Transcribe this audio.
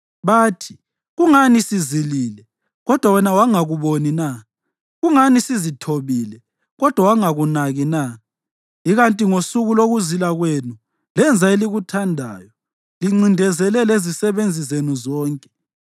Bathi, ‘Kungani sizilile, kodwa wena wangakuboni na? Kungani sizithobile kodwa wangakunaki na?’ Ikanti ngosuku lokuzila kwenu lenza elikuthandayo, lincindezele lezisebenzi zenu zonke.